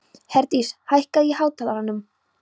Herdís, hækkaðu í hátalaranum.